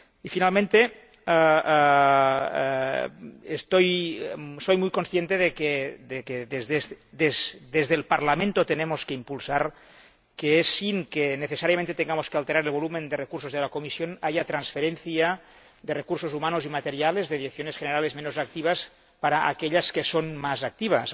Finalmente, soy muy consciente de que desde el Parlamento tenemos que impulsar que —sin que necesariamente tengamos que alterar el volumen de recursos de la Comisión— haya transferencia de recursos humanos y materiales de direcciones generales menos activas a las que son más activas.